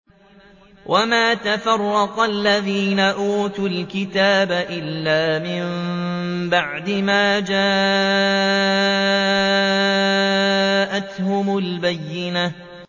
وَمَا تَفَرَّقَ الَّذِينَ أُوتُوا الْكِتَابَ إِلَّا مِن بَعْدِ مَا جَاءَتْهُمُ الْبَيِّنَةُ